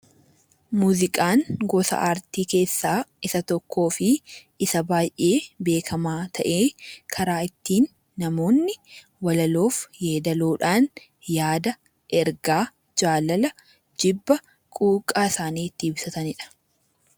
Muuziqaan gosa aartii keessaa isa tokkoo fi isa baay'ee beekamaa ta'ee, karaa ittiin namoonni walaloof yeedaloo dhaan yaada, ergaa, jaalala, jibba, quuqqaa isaanii itti ibsatani dha.